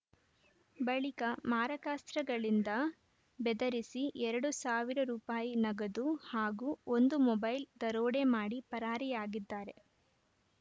ಬಳಿಕ ಮಾರಕಾಸ್ತ್ರಗಳಿಂದ ಬೆದರಿಸಿ ಎರಡು ಸಾವಿರ ರೂಪಾಯಿ ನಗದು ಹಾಗೂ ಒಂದು ಮೊಬೈಲ್‌ ದರೋಡೆ ಮಾಡಿ ಪರಾರಿಯಾಗಿದ್ದಾರೆ